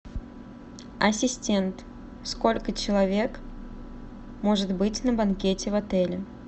ассистент сколько человек может быть на банкете в отеле